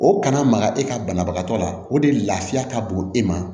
O kana maga e ka banabagatɔ la o de laafiya ka bon e ma